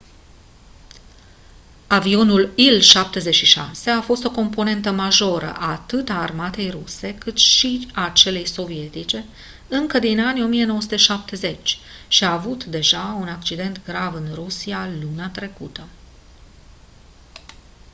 avionul il-76 a fost o componentă majoră atât a armatei ruse cât și a celei sovietice încă din anii 1970 și a avut deja un accident grav în rusia luna trecută